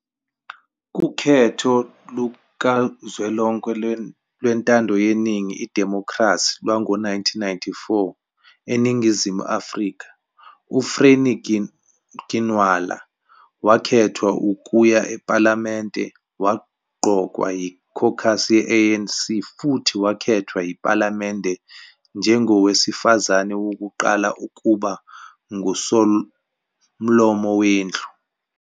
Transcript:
Kukhetho lukazwelonke lwentando yeningi idimokhrasi lwango 1994 eNingizimu Afrika, uFrene Ginwala wakhethwa ukuya ePhalamende. Waqokwa yi-caucus ye-ANC futhi wakhethwa yiPhalamende njengowesifazane wokuqala ukuba nguSomlomo weNdlu.